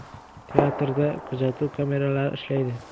Teatrda kuzatuv kameralari ishlaydi.